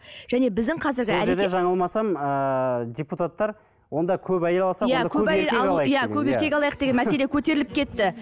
және біздің қазіргі сол жерде жаңылмасам ыыы депутаттар онда көп әйел алсақ көп еркек алайық деген мәселе көтеріліп кетті